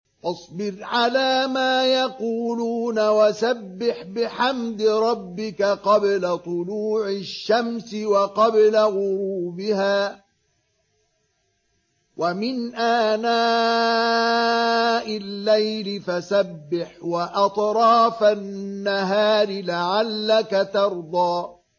فَاصْبِرْ عَلَىٰ مَا يَقُولُونَ وَسَبِّحْ بِحَمْدِ رَبِّكَ قَبْلَ طُلُوعِ الشَّمْسِ وَقَبْلَ غُرُوبِهَا ۖ وَمِنْ آنَاءِ اللَّيْلِ فَسَبِّحْ وَأَطْرَافَ النَّهَارِ لَعَلَّكَ تَرْضَىٰ